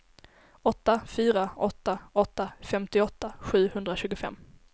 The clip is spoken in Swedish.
åtta fyra åtta åtta femtioåtta sjuhundratjugofem